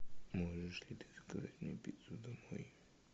можешь ли ты заказать мне пиццу домой